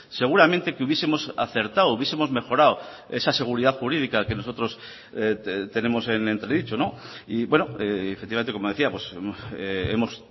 seguramente que hubiesemos acertado hubiesemos mejorado esa seguridad jurídica que nosotros tenemos en entredicho y efectivamente como decíamos hemos